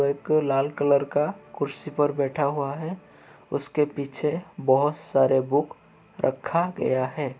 वह एक लाल कलर का कुर्सी पर बैठा हुआ है। उसके पीछे बहुत सारे बुक रखा गया है।